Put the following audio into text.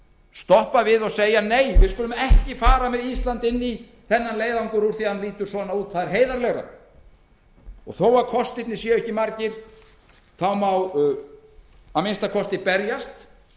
stoppa við og segja nei við skulum ekki fara með ísland inn í þennan leiðangur úr því að hann lítur svona út það er heiðarlegra og þó að kostirnir séu ekki margir má að minnsta kosti berjast